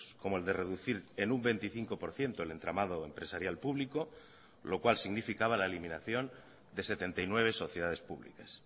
como el de reducir en un veinticinco por ciento el entramado empresarial público lo cual significaba la eliminación de setenta y nueve sociedades publicas